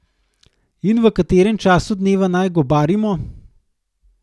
In v katerem času dneva naj gobarimo?